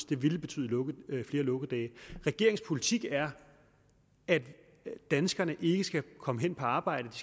det ville betyde flere lukkedage regeringens politik er at danskerne ikke skal kunne komme hen på arbejde